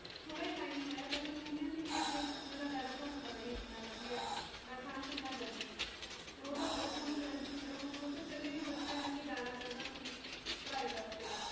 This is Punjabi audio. ਥੋੜਾ ਹੀ ਟਾਈਮ ਹੋਇਆ ਪਹਿਲਾ ਪੂਨੇ ਸੀਗੇ ਤੇ ਪੂਨੇ ਦਾ weather ਥੋਨੂੰ ਪਤਾ ਹੀ ਹੈ ਕਿਦਾਂ ਦਾ ਹੁੰਦਾ ਨਾ ਠੰਡ ਨਾ ਗਰਮੀ ਤੇ ਉਹ ਤਾ ਬਹੁਤ ਖੁਸ਼ ਰਹਿੰਦੇ ਸੀ ਤੇ ਉਹ ਚਲੇ ਗਏ ਓਧਰ ਬੱਚਿਆਂ ਕਰਕੇ ਜਾਣਾ ਪਿਆ ਓਹਨਾ ਨੂੰ ਪੜਾਈ ਵਾਸਤੇ